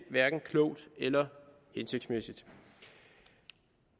hverken klogt eller hensigtsmæssigt